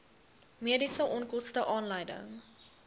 mediese onkoste aanleiding